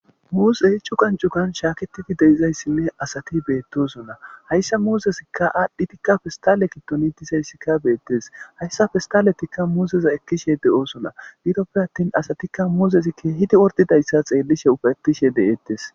Muuzey cuggan cuggan shaaketidi deizayssinne asati beettosona hayssa muuzezikka aadhdhidika pestale giddon dizayssika beettes hayssa pesstalezikka muuzeza ekkishe de7oosona gidoppe attin asatikka muuzesi keehidi ordidayssa xeellishe ufetishe de7eettes.